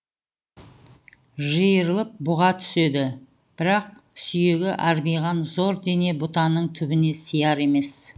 жиырылып бұға түседі бірақ сүйегі арбиған зор дене бұтаның түбіне сияр емес